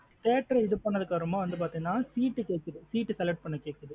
Theatre இது பண்ணதுக்கு அப்பறமா பாத்தீன seat கேக்குது seat select பண்ணா கேக்குது.